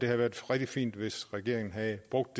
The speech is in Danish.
været rigtig fint hvis regeringen havde brugt